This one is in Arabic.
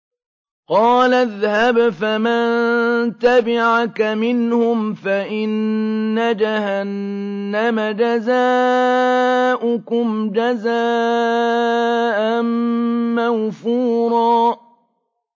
قَالَ اذْهَبْ فَمَن تَبِعَكَ مِنْهُمْ فَإِنَّ جَهَنَّمَ جَزَاؤُكُمْ جَزَاءً مَّوْفُورًا